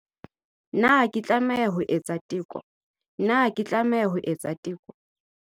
Na ke tlameha ho etsa teko Na ke tlameha ho etsa teko.